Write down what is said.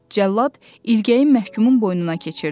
Cəllad ilgəyi məhkumun boynuna keçirdi.